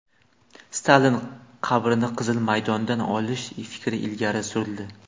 Stalin qabrini Qizil maydondan olish fikri ilgari surildi.